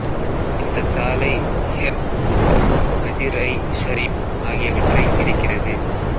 இந்தச் சாலை ஹெர்ட் மற்றும் மஜிர்ஐ ஷரீப் ஆகியவற்றை இணைக்கிறது